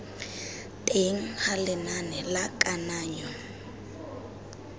teng ga lenane la kananyo